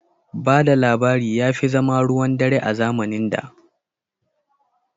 Ba da labari ya fi zama ruwan dare a zamanin da.